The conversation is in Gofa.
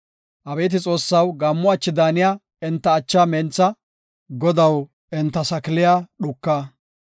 Abeeti Xoossaw, gaammo achi daaniya enta achaa mentha; Godaw enta sakiliya dhuka.